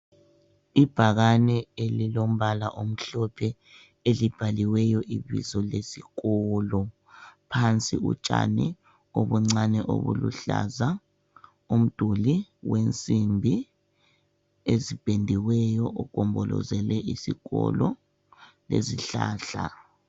Ibhakane elilombala omhlophe, elibhaliweyo ibizo lesikolo. Phansi utshani obuncane obuluhlaza, umduli wensimbi ezipendiweyo ogombolozele isikolo lezihlahla.